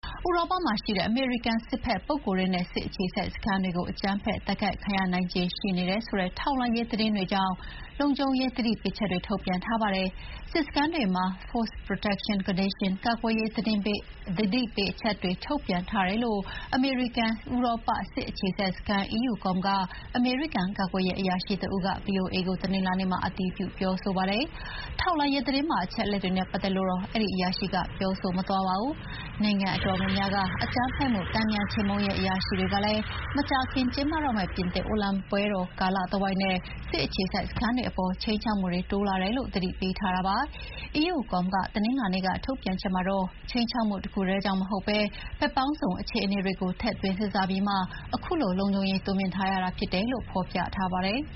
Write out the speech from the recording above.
'ဥရောပမှာရှိတဲ့အမေရိကန်စစ်ဘက်ပုဂ္ဂိုလ်တွေနဲ့ စစ်အခြေစိုက်စခန်းတွေ အကြမ်းဖက်တိုက်ခိုက်ခံရနိုင်ခြေရှိနေတယ်' ဆိုတဲ့ထောက်လှမ်းရေးသတင်းတွေကြောင့် လုံခြုံရေးသတိပေးချက်တွေ ထုတ်ပြန်ထားပါတယ်။ စစ်စခန်းတွေမှာ Force Protection Condition ကာကွယ်ရေးသတိပေးချက်တွေထုတ်ပြန်ထားတယ်လို့ အမေရိကန်-ဥရောပ စစ်အခြေစိုက်စခန်း EUCOM ကအမေရိကန် ကာကွယ်ရေးအရာရှိတဦးက ဗွီအိုအေကို တနင်္လာနေ့မှာ အတည်ပြုပြောဆိုပါတယ်။ ထောက်လှမ်းရေးသတင်းပါအချက်တွေနဲ့ပတ်သက်လို့တော့ အဲဒီအရာရှိက ပြောမသွားပါဘူး။ နိုင်ငံအတော်များများက အကြမ်းဖက်မှုတန်ပြန်ခြေမှုန်းရေးအရာရှိတွေကလည်း မကြာခင်ကျင်းပတော့မယ့် ပြင်သစ်အိုလံပစ်ပွဲတော်ကာလတဝိုက်နဲ့ စစ်အခြေစိုက်စခန်းတွေအပေါ် ခြိမ်းခြောက်မှုတွေတိုးလာတယ်လို့ သတိပေးထားတာပါ။ EUCOM က တနင်္လာနေ့ထုတ်ပြန်ချက်မှာတော့ ခြိမ်းခြောက်မှုတခုတည်းကြောင့်မဟုတ်ဘဲ ဘက်ပေါင်းစုံအခြေအနေတွေကိုထည့်သွင်းစဥ်းစားပြီးမှ ခုလို လုံခြုံရေးတိုးမြှင့်ထားရတာဖြစ်တယ်လို့ ဖော်ပြထားပါတယ်။